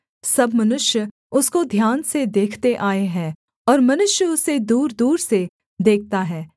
सब मनुष्य उसको ध्यान से देखते आए हैं और मनुष्य उसे दूरदूर से देखता है